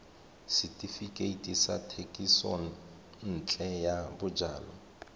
setefikeiti sa thekisontle ya bojalwa